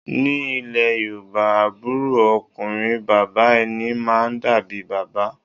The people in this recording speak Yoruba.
Ni ilẹ̀ Yorùbá, àbúrò ọkùnrin bàbá ẹni máa ń dàbí bàbá